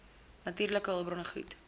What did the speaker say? natuurlike hulpbronne goed